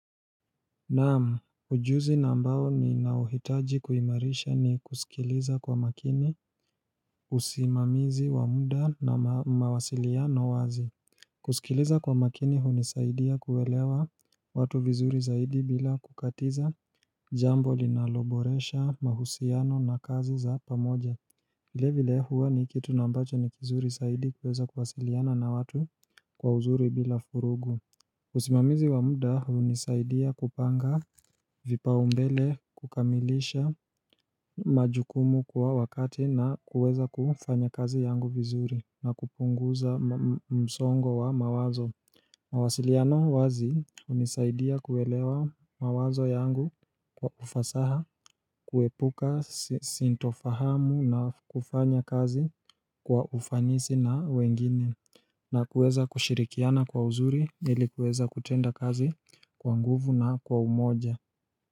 Naam, ujuzi na ambao ninauhitaji kuimarisha ni kusikiliza kwa makini usimamizi wa muda na mawasiliano wazi kusikiliza kwa makini hunisaidia kuelewa watu vizuri zaidi bila kukatiza jambo linaloboresha mahusiano na kazi za pamoja vilIe vile huwa ni kitu na ambacho ni kizuri zaidi kuweza kuwasiliana na watu kwa uzuri bila vurugu usimamizi wa muda hunisaidia kupanga vipaumbele kukamilisha majukumu kwa wakati na kuweza kufanya kazi yangu vizuri na kupunguza msongo wa mawazo mawasiliano wazi hunisaidia kuelewa mawazo yangu kwa ufasaha kuepuka sintofahamu na kufanya kazi kwa ufanisi na wengine na kuweza kushirikiana kwa uzuri ilikuweza kutenda kazi kwa nguvu na kwa umoja.